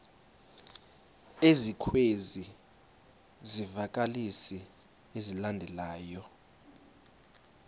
ezikwezi zivakalisi zilandelayo